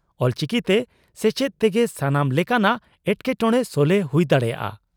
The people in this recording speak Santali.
ᱚᱞᱪᱤᱠᱤᱛᱮ ᱥᱮᱪᱮᱫ ᱛᱮᱜᱮ ᱥᱟᱱᱟᱢ ᱞᱮᱠᱟᱱᱟᱜ ᱮᱴᱠᱮᱴᱚᱸᱬᱮ ᱥᱚᱞᱦᱮ ᱦᱩᱭ ᱫᱟᱲᱮᱭᱟᱜᱼᱟ ᱾